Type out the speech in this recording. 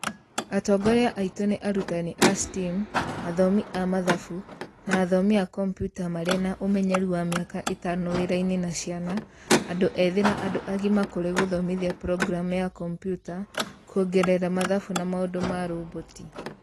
Atongoria aitũ nĩ arutani a STEAM, athomi a Mathabu, na athomi a kombiuta marĩ na ũmenyeru wa mĩaka ĩtano wĩra-inĩ na ciana, andũ ethi na andũ agima kũrĩ gũthomithia programu ya kombiuta, kuongerera mathabu na maũndũ ma roboti